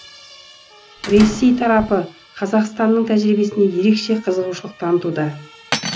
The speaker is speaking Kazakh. ресей тарапы қазақстанның тәжірибесіне ерекше қызығушылық танытуда